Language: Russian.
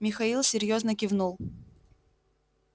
михаил серьёзно кивнул